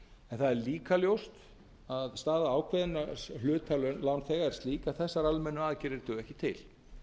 það er líka ljóst að staða ákveðinna hluta lánþega er slík að þessar almennu aðgerðir duga ekki til